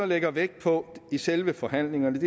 lægger vægt på i selve forhandlingerne